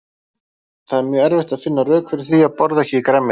Það er mjög erfitt að finna rök fyrir því að borða EKKI grænmeti.